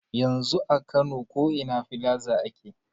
Yanzu a kano ko ina filaza ake.